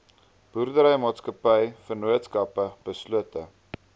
boerderymaatskappye vennootskappe beslote